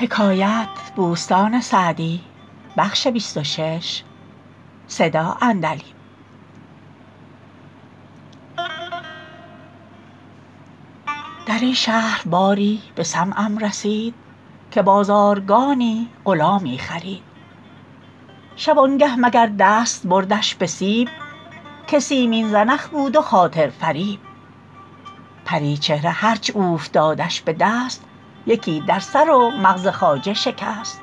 در این شهر باری به سمعم رسید که بازارگانی غلامی خرید شبانگه مگر دست بردش به سیب که سیمین زنخ بود و خاطر فریب پریچهره هرچ اوفتادش به دست یکی در سر و مغز خواجه شکست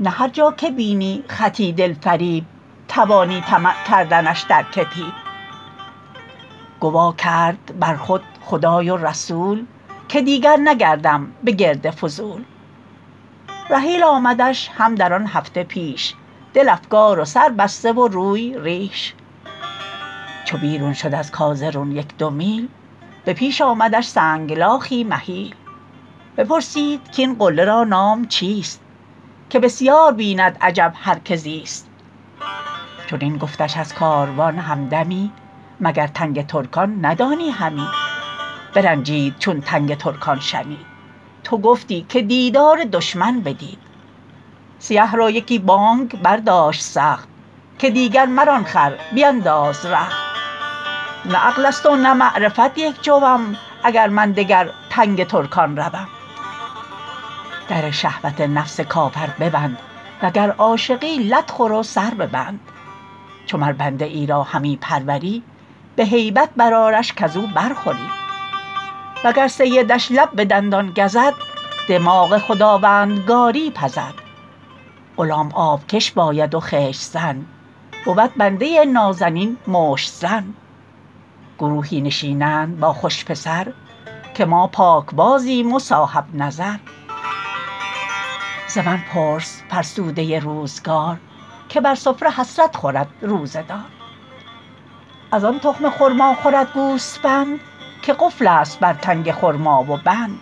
نه هر جا که بینی خطی دل فریب توانی طمع کردنش در کتیب گوا کرد بر خود خدای و رسول که دیگر نگردم به گرد فضول رحیل آمدش هم در آن هفته پیش دل افگار و سر بسته و روی ریش چو بیرون شد از کازرون یک دو میل به پیش آمدش سنگلاخی مهیل بپرسید کاین قله را نام چیست که بسیار بیند عجب هر که زیست چنین گفتش از کاروان همدمی مگر تنگ ترکان ندانی همی برنجید چون تنگ ترکان شنید تو گفتی که دیدار دشمن بدید سیه را یکی بانگ برداشت سخت که دیگر مران خر بینداز رخت نه عقل است و نه معرفت یک جوم اگر من دگر تنگ ترکان روم در شهوت نفس کافر ببند وگر عاشقی لت خور و سر ببند چو مر بنده ای را همی پروری به هیبت بر آرش کز او برخوری وگر سیدش لب به دندان گزد دماغ خداوندگاری پزد غلام آبکش باید و خشت زن بود بنده نازنین مشت زن گروهی نشینند با خوش پسر که ما پاکبازیم و صاحب نظر ز من پرس فرسوده روزگار که بر سفره حسرت خورد روزه دار از آن تخم خرما خورد گوسپند که قفل است بر تنگ خرما و بند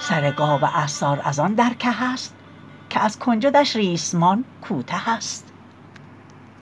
سر گاو عصار از آن در که است که از کنجدش ریسمان کوته است